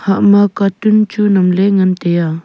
ama cartoon chu nyam ley nga tai a.